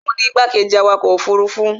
òun ni igbákejì awakọ̀ ọkọ̀ òfurufú